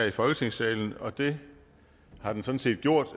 i folketingssalen og det har den sådan set gjort